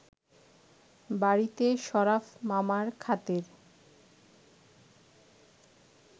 বাড়িতে শরাফ মামার খাতির